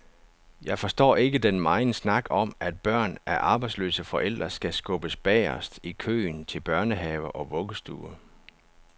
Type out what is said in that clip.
Jeg forstår ikke den megen snak om, at børn af arbejdsløse forældre skal skubbes bagerst i køen til børnehave og vuggestue.